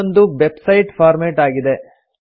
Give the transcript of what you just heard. ಇದೊಂದು website format ಆಗಿದೆ